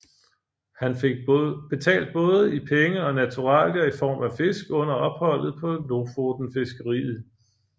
Han fik betalt både i penge og naturalier i form af fisk under opholdet på lofotenfiskeriet